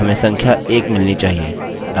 तो उसे रिफ्रेश करें और हमें संख्या 1 मिलनी चाहिए